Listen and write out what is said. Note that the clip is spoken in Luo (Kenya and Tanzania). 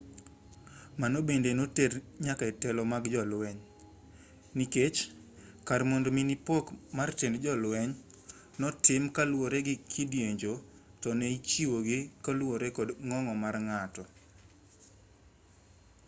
mano bende noter nyaka e telo mag jolweny nikech kar mondo mi ne pok mar tend jolweny otim kaluwore gi kidienje to ne ichiwo gi kaluwore kod ng'ongo mar ng'ato